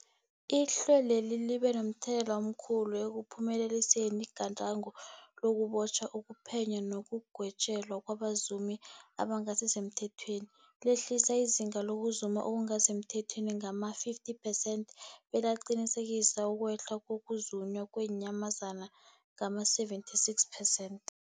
Ihlelweli libe momthelela omkhulu ekuphumeleliseni igadango lokubotjhwa, ukuphenywa nekugwetjweni kwabazumi abangasisemthethweni, lehlisa izinga lokuzuma okungasi semthethweni ngama-50 percent, belaqinisekisa ukwehla kokuzunywa kweenyamazana ngama-76 percent.